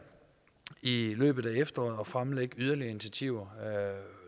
i løbet af efteråret forventer at fremlægge yderligere initiativer